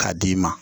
K'a d'i ma